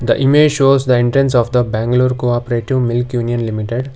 the image show entrance of the bangalore cooperative milk union limited.